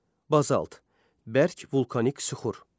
Bazalt bərk vulkanik süxur.